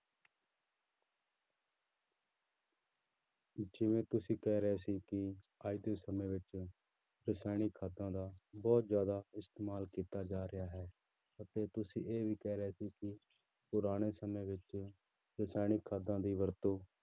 ਜਿਵੇਂ ਤੁਸੀਂ ਕਹਿ ਰਹੇ ਸੀ ਕਿ ਅੱਜ ਦੇ ਸਮੇਂ ਵਿੱਚ ਰਸਾਇਣਿਕ ਖਾਦਾਂ ਦਾ ਬਹੁਤ ਜ਼ਿਆਦਾ ਇਸਤੇਮਾਲ ਕੀਤਾ ਜਾ ਰਿਹਾ ਹੈ ਅਤੇ ਤੁਸੀਂ ਇਹ ਵੀ ਕਹਿ ਰਹੇ ਸੀ ਕਿ ਪੁਰਾਣੇ ਸਮੇਂ ਵਿੱਚ ਰਸਾਇਣਿਕ ਖਾਦਾਂ ਦੀ ਵਰਤੋਂ